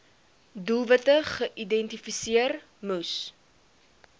doelwitte geïdentifiseer moes